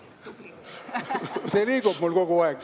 See liigub mul kogu aeg.